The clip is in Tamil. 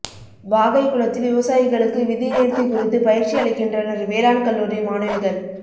வாகைக்குளத்தில் விவசாயிகளுக்கு விதை நோ்த்தி குறித்து பயிற்சி அளிக்கின்றனா் வேளாண் கல்லூரி மாணவிகள்